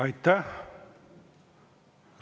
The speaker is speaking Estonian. Aitäh!